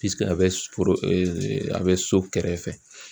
a bɛ a bɛ so kɛrɛfɛ